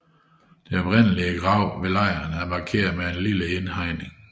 Det oprindelige gravsted ved lejren er markeret med en lille indhegning